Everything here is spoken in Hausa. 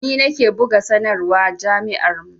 Ni nake buga sanarwa jami'ar mu